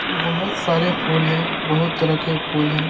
बहुत सारे फूल हैं बहुत तरह के फूल हैं।